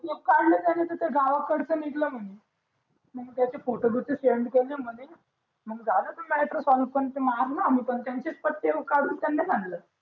मग काढले त्यांचं त गावाकडचे निघले म्हणी मग त्याहीचे फोटो बिटो सेंड केले मग झालं ते म्याटर सॉल्व काहून कि मारणार होते ते त्यांचेच पट्टे कडून त्यानलाच हाणले